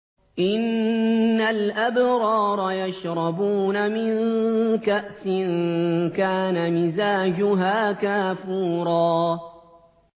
إِنَّ الْأَبْرَارَ يَشْرَبُونَ مِن كَأْسٍ كَانَ مِزَاجُهَا كَافُورًا